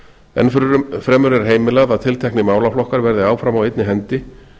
en varnarnota enn fremur er heimilað að tilteknir málaflokkar verði áfram á einni hendi